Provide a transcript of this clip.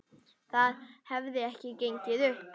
Það hefði ekki gengið upp.